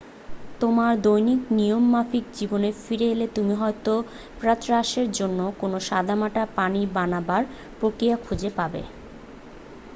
তোমার দৈনিক নিয়ম-মাফিক জীবনে ফিরে এলে তুমি হয়তো প্রাতরাশের জন্য কোনো সাদামাটা পানীয় বানাবার প্রক্রিয়া খুঁজে পাবে